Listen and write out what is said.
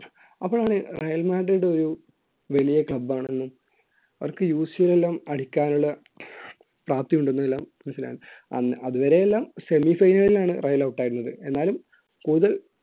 അപ്പോഴാണ് Real Madrid ഒരു വലിയ club ആണെന്നും അവർക്ക് UCL എല്ലാം അടിക്കാനുള്ള പ്രാപ്തി ഉണ്ടെന്നെല്ലാം മനസ്സിലാക്കുന്നത് അതുവരെയെല്ലാം semi final ൽ ആണ് റെയിൽ out ആയത് എന്നാലും കൂടുതൽ